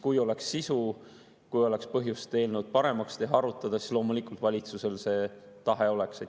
Kui oleks sisu, kui oleks põhjust eelnõu paremaks teha, arutada, siis loomulikult valitsusel see tahe oleks.